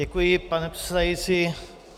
Děkuji, pane předsedající.